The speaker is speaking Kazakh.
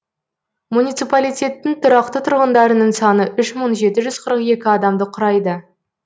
муниципалитеттің тұрақты тұрғындарының саны үш мың жеті жүз қырық екі адамды құрайды